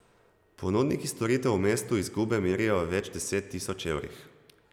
Ponudniki storitev v mestu izgube merijo v več deset tisoč evrih.